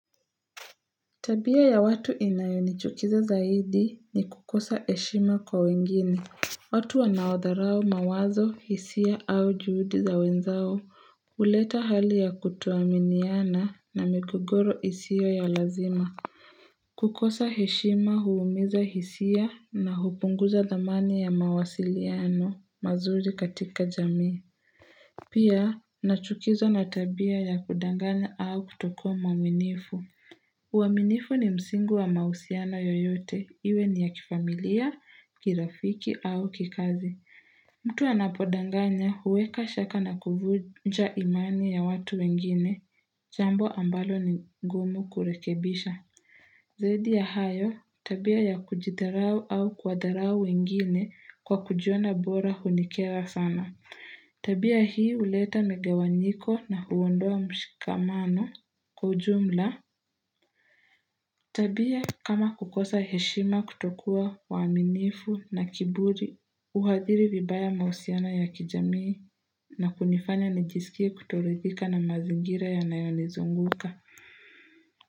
Tabia ya watu inayonichukiza zaidi ni kukosa heshima kwa wengine. Watu wanaodharau mawazo hisia au juhudi za wenzao huleta hali ya kutoaminiana na migogoro isio ya lazima kukosa heshima huumiza hisia na hupunguza thamani ya mawasiliano mazuri katika jamii Pia nachukizwa na tabia ya kudanganya au kutokuwa mwaminifu uaminifu ni msingi wa mausiana yoyote, iwe ni ya kifamilia, kirafiki au kikazi. Mtu anapodanganya huweka shaka na kuvunja imani ya watu wengine, jambo ambalo ni ngumu kurekebisha. Zaidi ya hayo, tabia ya kujitharau au kuwatharau wengine kwa kujiona bora hunikera sana. Tabia hii huleta migawanyiko na huondoa mshikamano kwa ujumla. Tabia kama kukosa heshima kutokua waaminifu na kiburi, uhadhiri vibaya mausiana ya kijamii na kunifanya najisikie kutorithika na mazingira ya nayonizunguka.